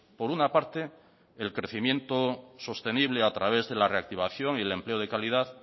por una parte el crecimiento sostenible a través de la reactivación y el empleo de calidad